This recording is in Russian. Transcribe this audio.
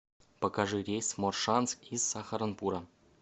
покажи рейс в моршанск из сахаранпура